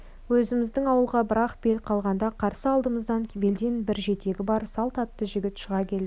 өзіміздің ауылға бір-ақ бел қалғанда қарсы алдымыздан белден бір жетегі бар салт атты жігіт шыға келді